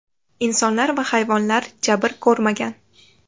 Insonlar va hayvonlar jabr ko‘rmagan.